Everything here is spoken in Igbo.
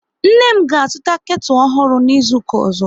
Nne m ga azụta ketu ọhụrụ n'izuka ọzọ